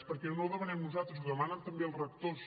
perquè no ho demanem nosaltres ho demanen també els rectors